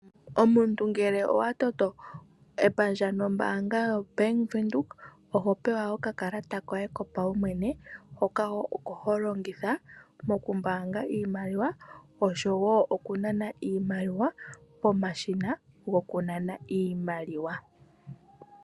Omuntu ngele owa toto epandja nombaanga yoBank Windhoek oho pewa okakalata koye kopaumwene, hoka oko ho longitha mokumbaanga iimaliwa osho wo okunana iimaliwa pomashina gokunana iimaliwa.